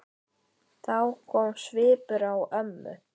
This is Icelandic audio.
Þá kom svipur á ömmu.